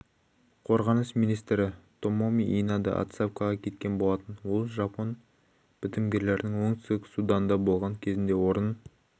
қорғаныс министрі томоми инада отставкаға кеткен болатын ол жапон бітімгерлерінің оңтүстік суданда болған кезінде орын